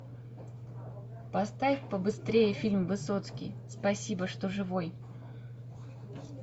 поставь побыстрее фильм высоцкий спасибо что живой